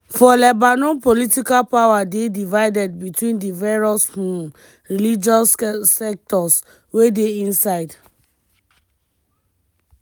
for lebanon political power dey divided between di various um religious sects wey dey inside.